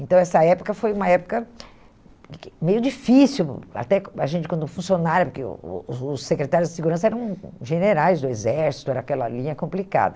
Então, essa época foi uma época meio difícil, até a gente, quando funcionária, porque o o os secretários de segurança eram generais do exército, era aquela linha complicada.